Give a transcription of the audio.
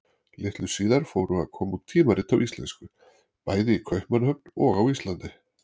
Litlu síðar fóru að koma út tímarit á íslensku, bæði í Kaupmannahöfn og á Íslandi.